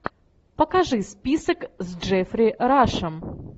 покажи список с джеффри рашем